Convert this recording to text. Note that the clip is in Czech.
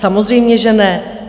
Samozřejmě že ne.